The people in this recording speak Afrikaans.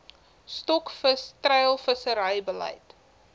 stokvis treilvissery beleid